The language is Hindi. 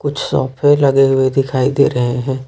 कुछ सोफे लगे हुए दिखाई दे रहे हैं।